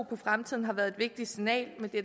på fremtiden har været et vigtigt signal med det